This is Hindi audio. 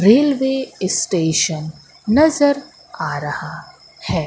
रेलवे स्टेशन नजर आ रहा है।